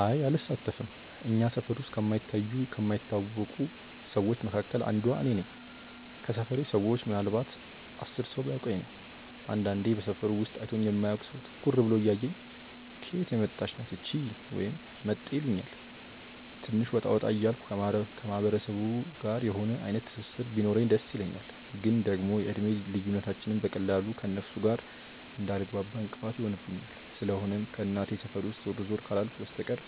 አይ አልሳተፍም። እኛ ሰፈር ውስጥ ከማይታዩ ከማይታወቁ ሰዎች መካከል አንዷ እኔ ነኝ። ከሰፈሬ ሰዎች ምናልንባት 10 ሰው ቢያውቀኝ ነው። አንዳንድ በሰፈሩ ውስጥ አይቶኝ የማያውቅ ሰው ትኩር ብሎ እያየኝ "ከየት የመጣች ናት እቺ?" ወይም "መጤ" ይሉኛል። ትንሽ ወጣ ወጣ እያልኩ ከማህበረሰቡ ጋር የሆነ አይነት ትስስር ቢኖረኝ ደስ ይለኛል፤ ግን ደግሞ የእድሜ ልዩነታችንም በቀላሉ ከእነርሱ ጋር እንዳልግባባ እንቅፋት ይሆንብኛል። ስለሆነም ከእናቴ ሰፈር ውስጥ ዞር ዞር ካላልኩ በስተቀር